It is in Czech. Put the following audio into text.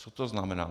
Co to znamená?